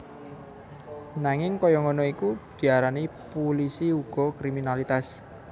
Nanging kaya ngono iku diarani pulisi uga kriminalitas